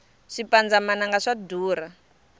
swipandza mananga swa durha